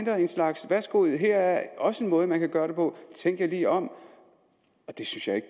slags værsgo her er også en måde man kan gøre det på tænk jer lige om det synes jeg ikke